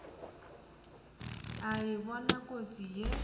a e bona kotsi ye